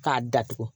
K'a datugu